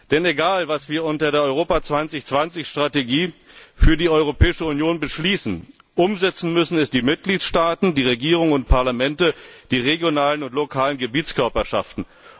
Denn egal, was wir im Rahmen der Strategie Europa 2020 für die Europäische Union beschließen, umsetzen müssen es die Mitgliedstaaten, die Regierungen und Parlamente, die regionalen und lokalen Gebietskörperschaften.